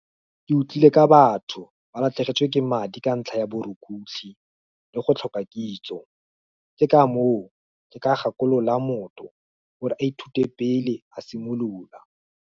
Ke utlwile ka batho, ba latlhegetswe ke madi ka ntlha ya borukutlhi, le go tlhoka kitso, ke ka moo, ke ka gakolola motho, gore a ithute pele a simolola.